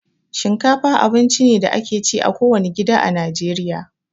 Shinkafa abinci ne da ake ci a kowane gida a Najeriya